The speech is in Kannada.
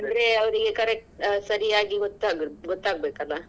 ಅಂದ್ರೆ ಅವ್ರಿಗೆ correct ಸರಿಯಾಗಿ ಗೊತ್ತಾಗ್~ ಗೊತ್ತಾಗ್ಬೇಕಲ್ಲ.